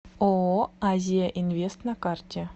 ооо азияинвест на карте